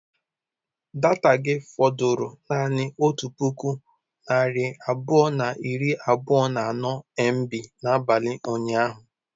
Data gị fọdụrụ naanị otu puku narị abụọ na iri abụọ na anọ mb n'abalị ụnyaahụ?